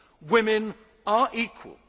Women are equal.